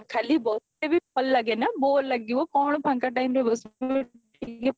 ଖାଲି ବି ଭଲ ଲାଗେନା bore ଲାଗିବ କଣ ଫାଙ୍କ timeରେ ବସିବ